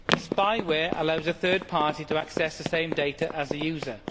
Spyware allows a third party to access the same data as the user.